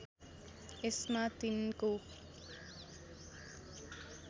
यसमा तिनको